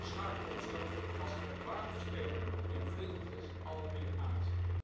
Zo schakelen we onszelf als geloofwaardige speler in het vredesproces almaar meer uit.